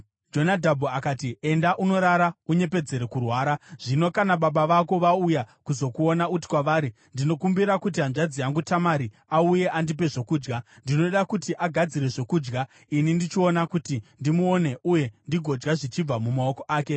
Jonadhabhu akati, “Enda unorara unyepedzere kurwara. Zvino kana baba vako vauya kuzokuona, uti kwavari, ‘Ndinokumbira kuti hanzvadzi yangu Tamari auye andipe zvokudya. Ndinoda kuti agadzire zvokudya ini ndichiona kuti ndimuone uye ndigodya zvichibva mumaoko ake.’ ”